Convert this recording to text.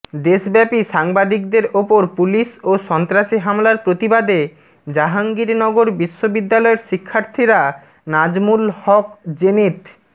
দেশব্যাপী সাংবাদিকদের ওপর পুলিশ ও সন্ত্রাসী হামলার প্রতিবাদে জাহঙ্গীরনগর বিশ্ববিদ্যালয়ের শিক্ষার্থীরা নাজমুল হক জেনিথ